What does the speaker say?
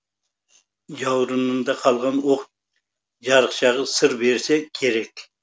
жауырынында қалған оқ жарықшағы сыр берсе керек